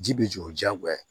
Ji bɛ jɔ o diyagoya ye